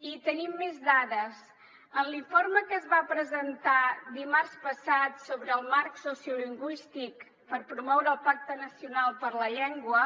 i tenim més dades en l’informe que es va presentar dimarts passat sobre el marc sociolingüístic per promoure el pacte nacional per la llengua